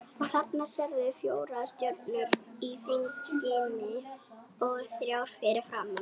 Og þarna sérðu fjórar stjörnur í ferningi og þrjár fyrir framan.